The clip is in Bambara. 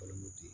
Balimaw di